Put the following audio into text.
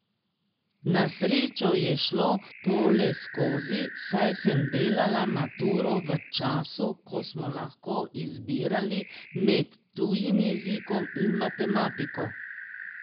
Na srečo je šlo to le skozi, saj sem delala maturo v času, ko smo lahko izbirali med tujim jezikom in matematiko.